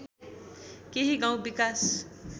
केही गाउँ विकास